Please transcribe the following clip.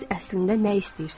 Siz əslində nə istəyirsiniz?